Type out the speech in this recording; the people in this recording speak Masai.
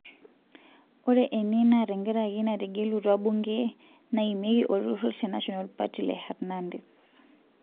Ore ene naa tenkaraki netegelutwa bunge naimieki olturur le National party le Hernandez.